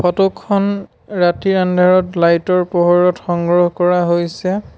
Photo খন ৰাতিৰ আন্ধাৰত লাইট ৰ পোহৰত সংগ্ৰহ কৰা হৈছে।